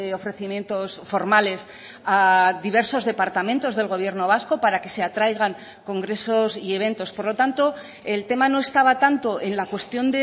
ofrecimientos formales a diversos departamentos del gobierno vasco para que se atraigan congresos y eventos por lo tanto el tema no estaba tanto en la cuestión